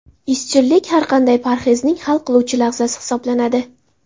Izchillik – har qanday parhezning hal qiluvchi lahzasi hisoblanadi.